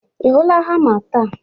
Ị hụla hama taa?